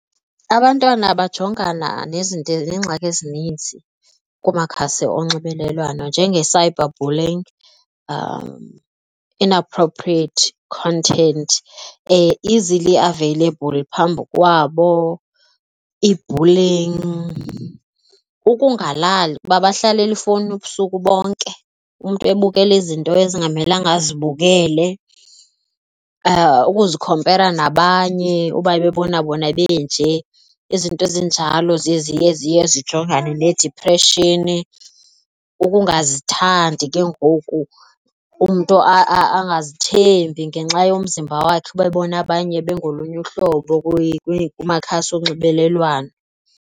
Abantwana bajongana nezinto neengxaki ezininzi kumakhasi onxibelelwano njenge-cyber bullying, inappropriate content easily available phambi kwabo, i-bullying, ukungalali kuba bahlalele ifowunini ubusuku bonke umntu ebukele izinto ezingamelanga azibukele, ukuzikhompera nabanye uba bebona bona benje izinto ezinjalo ziye ziye ziye zijongane needipreshini. Ukungazithandi ke ngoku umntu angazithembi ngenxa yomzimba wakhe ube bona abanye bengolunye uhlobo kumakhasi onxibelelwano.